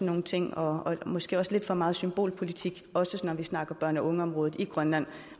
nogle ting og måske også lidt for meget symbolpolitik også når vi snakker børn og unge området i grønland